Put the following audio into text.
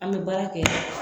An bɛ baara kɛ